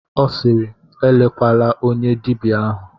Ọ sịịrị, elekwala onye dibịa ahụ!